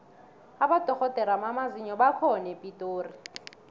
abodorhodere bamazinyo bakhona epitori